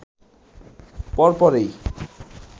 পর পরেই